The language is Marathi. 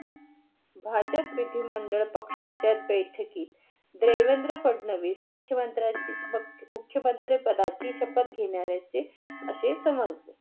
भाजप विधिमंडळ पक्ष्याच्या बैठकी. देवेंद्र फडणवीस मुख्य मंत्र्या मुख्य मंत्र्या पदाची शपत घेणाऱ्याच असे समजले